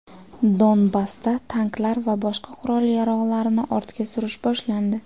Donbassda tanklar va boshqa qurol-yarog‘larni ortga surish boshlandi.